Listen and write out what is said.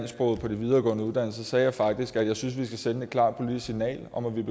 sprog på de videregående uddannelser sagde jeg faktisk at jeg synes at vi skal sende et klart politisk signal om at vi er